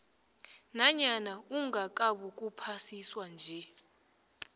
nanyana ungakabukuphasiswa nje